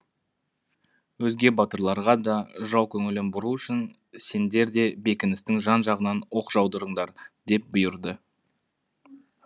өзге батырларға да жау көңілін бұру үшін сендер де бекіністің жан жағынан оқ жаудырыңдар деп бұйырды